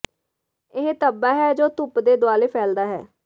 ਇਹ ਧੱਬਾ ਹੈ ਜੋ ਧੁੱਪ ਦੇ ਦੁਆਲੇ ਫੈਲਦਾ ਹੈ